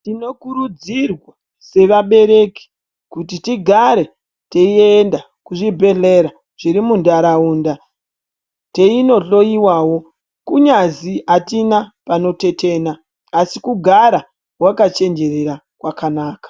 Tinokurudzirwa sevabereki kuti tigare tiienda kuzvibhedhlera zvirimuntaraunda teinohloyiwawo kunyazi hatina panotetena asi kugara wakachenjerera kwakanaka.